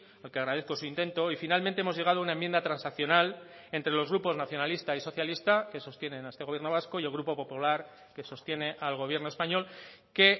porque agradezco su intento y finalmente hemos llegado a una enmienda transaccional entre los grupos nacionalista y socialista que sostienen a este gobierno vasco y el grupo popular que sostiene al gobierno español que